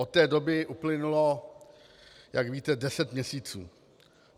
Od té doby uplynulo, jak víte, deset měsíců.